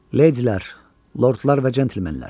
Leydilər, lordlar və cəntlemenlər!